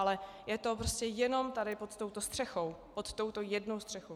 Ale je to prostě jenom tady pod touto střechou, pod touto jednou střechou.